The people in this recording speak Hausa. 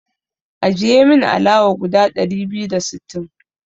Ajiye min alawa guda ɗari biyu da sittin.